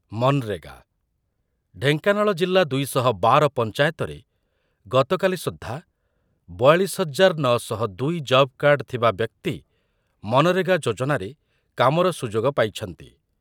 ମନରେଗା, ଢେଙ୍କାନାଳ ଜିଲ୍ଲା ଦୁଇ ଶହ ବାର ପଞ୍ଚାୟତରେ ଗତକାଲି ସୁଦ୍ଧା ବୟାଳିଶ ହଜାର ନ ଶହ ଦୁଇ ଜବ୍‌କାର୍ଡ଼ ଥିବା ବ୍ୟକ୍ତି ମନରେଗା ଯୋଜନାରେ କାମର ସୁଯୋଗ ପାଇଛନ୍ତି ।